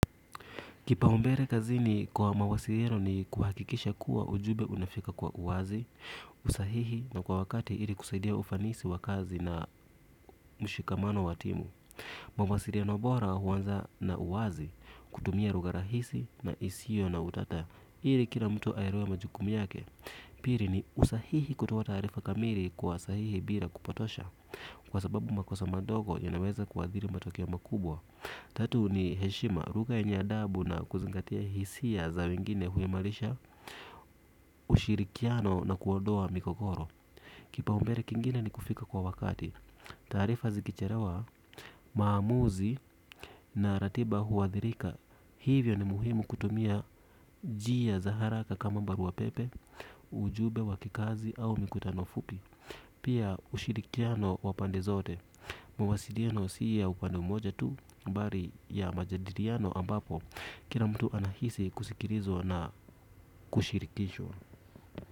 Kipaumbele kazini kwa mawasiliano ni kuhakikisha kuwa ujumbe unafika kwa uwazi, usahihi na kwa wakati ili kusaidia ufanisi wa kazi na mshikamano wa timu. Mawasiliano bora huanza na uwazi kutumia lugha rahisi na isiyo na utata ili kila mtu aelewe majukumi yake pili ni usahihi kutoa taarifa kamili sahihi bila kupotosha kwa sababu makosa kidogo inaweza kuathiri matokeo mkubwa. Tatu ni heshima lugha yenye adabu na kuzingatia hisia za wengine huimarisha ushirikiano na kuodoa migogoro. Kipaumbele kingine ni kufika kwa wakati. Taarifa zikichelewa, maamuzi na ratiba huwathirika. Hivyo ni muhimu kutumia njia za haraka kama barua pepe, ujumbe wa kikazi au mikutano fupi. Pia ushirikiano wapande zote mawasiliano si ya upande mmoja tu, bali ya majadiliano ambapo kila mtu anahisi kusikilizwa na kushirikishwa.